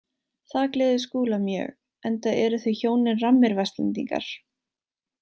Það gleður Skúla mjög enda eru þau hjónin rammir Vestlendingar.